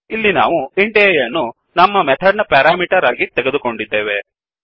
ಇಲ್ಲಿ ನಾವು int a ಯನ್ನು ನಮ್ಮ ಮೆಥಡ್ ನ ಪೆರಾಮಿಟರ್ ಆಗಿ ತೆಗೆದೊಕೊಂಡಿದ್ದೇವೆ